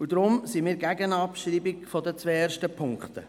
Deshalb sind wir gegen die Abschreibung der ersten beiden Punkte.